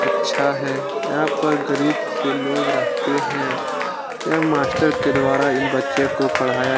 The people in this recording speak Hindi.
अच्छा है यहाँ पर गरीब से लोग रहते हैं यह मास्टर के द्वारा इन बच्चों को पढ़ाया --